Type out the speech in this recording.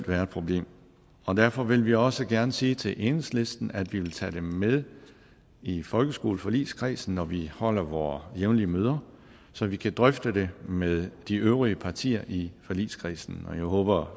være et problem og derfor vil vi også gerne sige til enhedslisten at vi vil tage det med i folkeskoleforligskredsen når vi holder vore jævnlige møder så vi kan drøfte det med de øvrige partier i forligskredsen og jeg håber